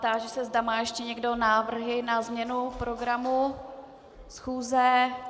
Táži se, zda má ještě někdo návrhy na změnu programu schůzi.